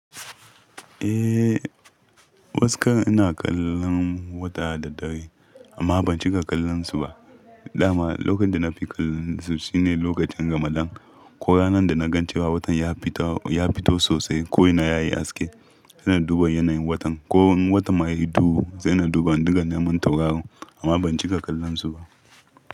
Eh, wasu ka ina kallon wata da dare amma ban cika kallon su ba. Da ma lokacin da na fi kallon su shi ne lokacin ramadan. Ko ranar da na gan cewa watan ya fito sosai ko ina yayi haske, sai na duba yanayin watan. Ko wani watan ma ya yi duhu, sai na duba duka naman tauraron amma ban cika kallon su ba.